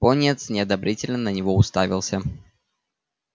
пониетс неодобрительно на него уставился